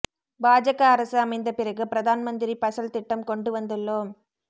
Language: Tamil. பாஜக அரசு அமைந்த பிறகு பிரதான் மந்திரி பசல் திட்டம் கொண்டுவந்துள்ளோம்